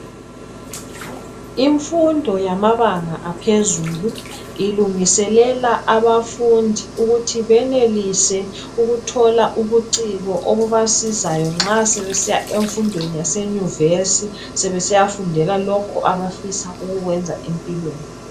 Imfundo yamabanga aphezulu ilungiselela abafundi ukuthi benelise ukuthola ubuciko obubasizayo nxa sebesiya emfundweni yase nyuvesi sebesiya fundela lokho abafisa ukukwenza empilweni .